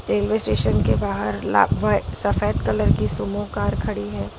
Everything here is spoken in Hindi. रेलवे स्टेशन के बाहर ला वा सफेद कलर की सुमो कार खड़ी है।